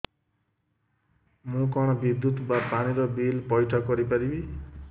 ମୁ କଣ ବିଦ୍ୟୁତ ବା ପାଣି ର ବିଲ ପଇଠ କରି ପାରିବି